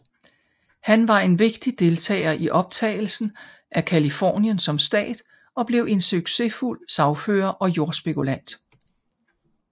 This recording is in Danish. Han var en vigtig deltager i optagelsen af Californien som stat og blev en succesfuld sagfører og jordspekulant